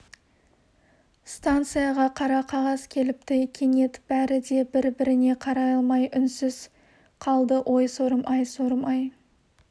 станцияға қара қағаз келіпті кенет бәрі де бір-біріне қарай алмай үнсіз қалды ой сорым-ай ой сорым-ай